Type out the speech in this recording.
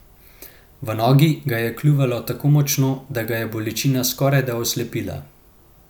V nogi ga je kljuvalo tako močno, da ga je bolečina skorajda oslepila.